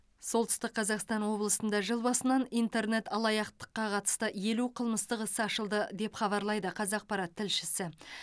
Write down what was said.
солтүстік қазақстан облысында жыл басынан интернет алаяқтыққа қатысты елу қымыстық іс ашылды деп хабарлайды қазақпарат тілшісі